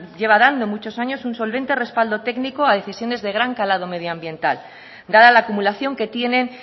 lleva dando muchos años un solvente respaldo técnico a decisiones de gran calado medioambiental dada la acumulación que tienen